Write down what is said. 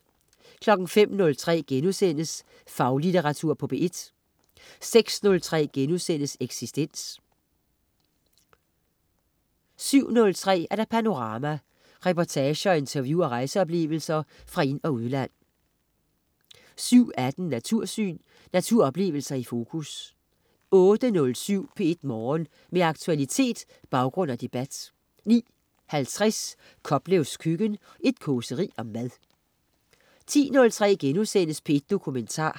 05.03 Faglitteratur på P1* 06.03 Eksistens* 07.03 Panorama. Reportager, interview og rejseoplevelser fra ind- og udland 07.18 Natursyn. Naturoplevelsen i fokus 08.07 P1 Morgen. Med aktualitet, baggrund og debat 09.50 Koplevs Køkken. Et causeri om mad 10.03 P1 Dokumentar*